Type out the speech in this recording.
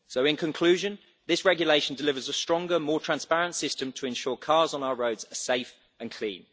In conclusion, this regulation delivers a stronger, more transparent system to ensure cars on our roads are safe and clean.